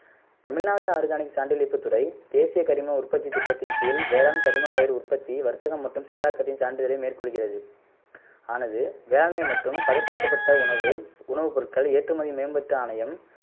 Tamil Nadu organic சான்றிழிப்பு துறை தேசிய கரிம உற்பத்தி திட்டத்தின் கீழ் வேளாண் கரிம பயிர் உற்பத்தி வர்த்தகம் மற்றும் செயலாக்கத்தின் சான்றிதழை மேற்கொள்கிறது ஆனது வேளாண்மை மற்றும் பதப்படுத்தப்பட்ட உணவு உணவுப் பொருள்கள் ஏற்றுமதி மேம்பாட்டு ஆணையம்